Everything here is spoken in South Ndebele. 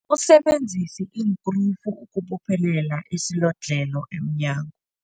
Usebenzise iinkrufu ukubophelela isilodlhelo emnyango.